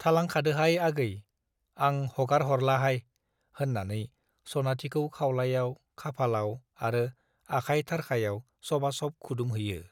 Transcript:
थालांखादोहाय आगै, आं हगारह'रलाहाय होन्नानै सनाथिखौ खाउलायाव खाफालाव आरो आखाय थारखायाव सबा सब खुदुमहैयो ।